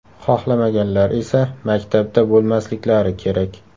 Xohlamaganlar esa maktabda bo‘lmasliklari kerak.